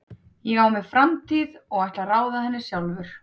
Ég á mér framtíð og ég ætla að ráða henni sjálfur.